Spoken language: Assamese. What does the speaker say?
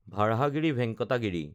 ভাৰাহাগিৰি ভেংকাটা গিৰি